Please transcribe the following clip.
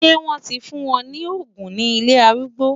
Ṣé wọ́n ti fún wọn ní òògùn ní ilé arúgbó?